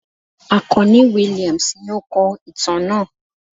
Akanni Williams ni o kọ itan naa